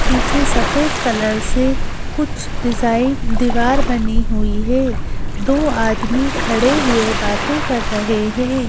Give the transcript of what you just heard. पीछे सफेद कलर से कुछ डिज़ाइन दीवार बनी हुई है दो आदमी खड़े हुए बातें कर रहे हैं।